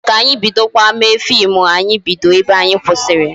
Echi ka anyị bidokwa mewe fim anyị bido ebe anyị kwụsịrị